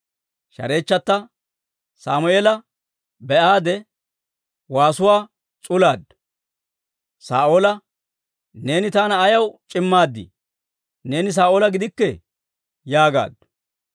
Shareechchatta Sammeela be'aade, waasuwaa s'ulaaddu; Saa'oola, «Neeni taana ayaw c'immaad? Neeni Saa'oola gidikkii!» yaagaaddu.